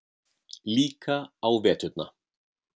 Líka á veturna.